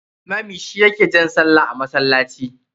Limami shi ya ke jan sallah a masallaci.